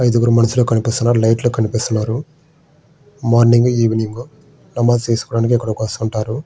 ఐదుగురు మనుషులు కనిపిస్తున్నారు లైట్లు కనిపిస్తున్నారు మార్నింగ్ ఈవెనింగ్ నమాజు చేసుకోవడానికి అక్కడికి వస్తుంటారు.